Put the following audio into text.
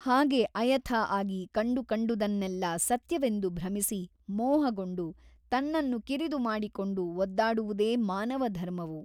ಹಾಗೆ ಅಯಥಾ ಆಗಿ ಕಂಡುಕಂಡುದನ್ನೆಲ್ಲ ಸತ್ಯವೆಂದು ಭ್ರಮಿಸಿ ಮೋಹಗೊಂಡು ತನ್ನನ್ನು ಕಿರಿದು ಮಾಡಿಕೊಂಡು ಒದ್ದಾಡುವುದೇ ಮಾನವ ಧರ್ಮವು.